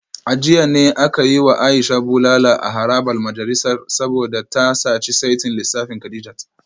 A jiya ne aka yi wa Aisha bulala a harabar majalisar saboda ta saci saitin lissafin Kadijat